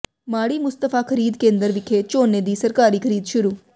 ਮਾੜੀ ਮੁਸਤਫ਼ਾ ਖ਼ਰੀਦ ਕੇਂਦਰ ਵਿਖੇ ਝੋਨੇ ਦੀ ਸਰਕਾਰੀ ਖ਼ਰੀਦ ਸ਼ੁਰੂ